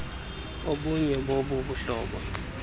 obunye bobu buhlobo